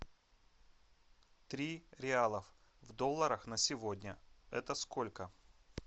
три реалов в долларах на сегодня это сколько